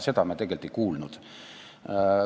Seda me tegelikult ei kuulnud.